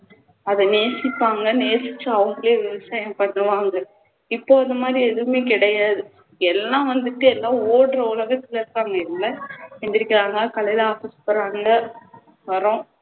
அதை நேசிப்பாங்க நேசிச்சு அவங்களே விவசாயம் பண்ணுவாங்க இப்போ இதுமாதிரி எதுவுமே கிடையாது எல்லாம் வந்துட்டு ஏதோ ஓடுற உலகத்துல இருக்காங்க இல்ல எழுந்திருக்கிறாங்க காலைல office போறாங்க மரம்